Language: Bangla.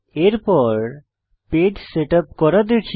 এরপর পেজ সেটআপ করা দেখি